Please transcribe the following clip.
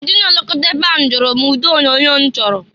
Ndị na-elokọta ebe ahụ jụrụ m ụdị onyoonyo m chọrọ.